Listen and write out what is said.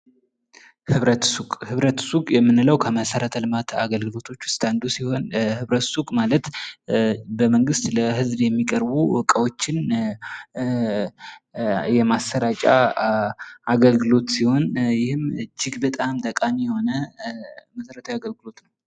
ህብረት ሱቅ ፦ ህብረት ሱቅ የምንለው ከመሰረተ ልማት አገልግሎቶች ዉስጥ አንዱ ሲሆን ህብረት ሱቅ ማለት በመንግስት ለህዝብ የሚቀርቡ እቃዎችን የማሰራጫ አገልግሎት ሲሆን ይህም እጅግ በጣም ጠቃሚ የሆነ መሰረታዊ አገልግሎት ነው።